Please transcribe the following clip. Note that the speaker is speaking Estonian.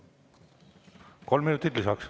Kolm minutit lisaks.